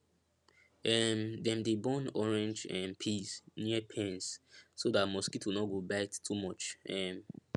um dem dey burn orange um peels near pens so dat mosquito no go bite too much um